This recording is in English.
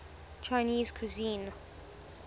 chinese cuisine